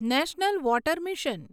national water mission